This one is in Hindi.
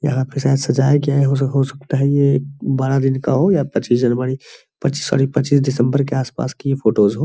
यहाँ पे शायद सजाया गया और हो सकता है ये बड़ा दिन का हो या पच्चीस जनवरी सॉरी पच्चीस दिसंबर की आस-पास की ये फोटोज हो।